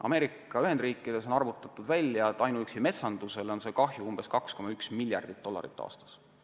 Ameerika Ühendriikides on arvutatud välja, et ainuüksi metsandusele on kahju umbes 2,1 miljardit dollarit aastas.